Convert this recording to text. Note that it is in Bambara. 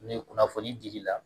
Ne ye kunnafoni di i la